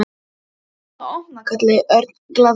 Ætlarðu að fara að opna? kallaði Örn glaðlega.